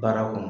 Baara kɔnɔ